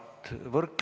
Aitäh!